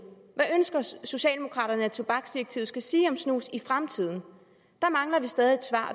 hvad ønsker socialdemokraterne at tobaksdirektivet skal sige om snus i fremtiden der mangler vi stadig et svar